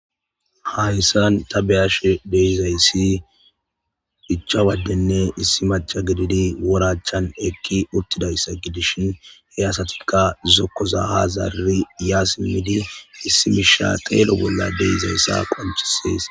Hayssan ta beyashe deizayssi hicha waddenne issi macha gididi worachchan ekki uttidayssa gidishin he asatikka zokkoza hazarri ya simmidi issimisha teelo bolla deizayssa qonchisees.